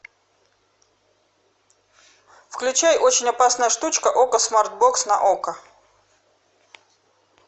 включай очень опасная штучка окко смартбокс на окко